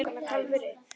Halldór Arason.